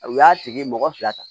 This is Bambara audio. U y'a tigi mɔgɔ fila ta